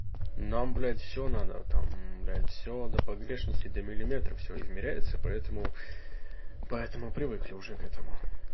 нам блядь всё надо там блядь всё до погрешности до миллиметра всё измеряется поэтому поэтому привыкли уже к этому